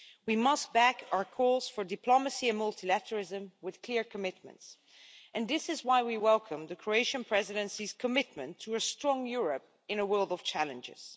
We must back our calls for diplomacy and multilateralism with clear commitments, and this is why we welcome the Croatian Presidency's commitment to a strong Europe in a world of challenges.